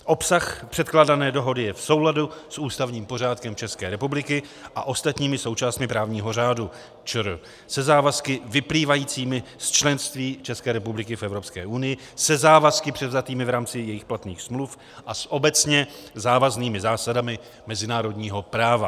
Obsah předkládané dohody je v souladu s ústavním pořádkem České republiky a ostatními součástmi právního řádu ČR, se závazky vyplývajícími z členství České republiky v Evropské unii, se závazky převzatými v rámci jejích platných smluv a s obecně závaznými zásadami mezinárodního práva.